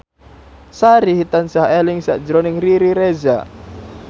Sari tansah eling sakjroning Riri Reza